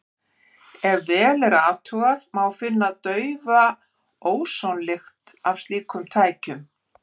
Ef vel er athugað, má finna daufa ósonlykt af slíkum tækjum.